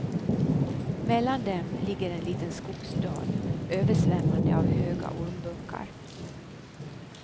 Mellan dem ligger en liten skogsdal, översvämmande av höga ormbunkar.